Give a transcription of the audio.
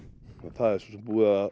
það er svo sem búið að